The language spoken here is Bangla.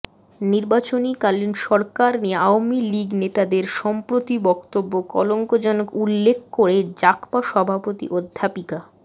নির্বাচনীকালীন সরকার নিয়ে আওয়ামী লীগ নেতাদের সম্প্রতি বক্তব্য কলঙ্কজনক উল্লেখ করে জাগপা সভাপতি অধ্যাপিকা